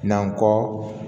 Nan kɔ